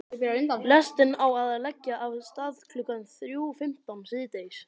Lestin á að leggja af stað klukkan þrjú fimmtán síðdegis.